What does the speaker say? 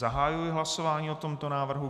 Zahajuji hlasování o tomto návrhu.